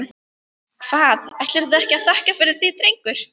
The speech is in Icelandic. Hvað, ætlarðu ekki að þakka fyrir þig drengur?